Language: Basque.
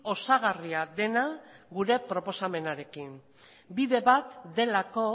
osagarria dena gure proposamenarekin bide bat delako